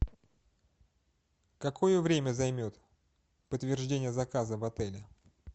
какое время займет подтверждение заказа в отеле